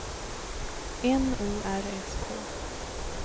N O R S K